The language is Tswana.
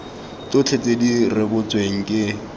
tsotlhe tse di rebotsweng ke